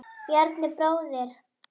Bjarni bróðir.